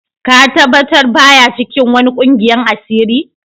Ka tabatar ba ya cikin wani ƙungiyan asiri?